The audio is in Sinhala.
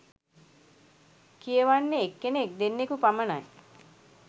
කියවන්නෙ එක්කෙනෙක් දෙන්නකු පමණයි